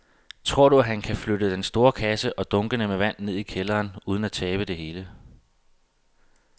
Tror du, at han kan flytte den store kasse og dunkene med vand ned i kælderen uden at tabe det hele?